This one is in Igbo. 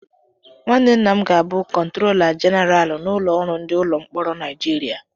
Nwanne nna m ga-abụ kọntrola jeneralụ n'ụlọ ọrụ ndị ụlọ mkpọrọ Naijiria.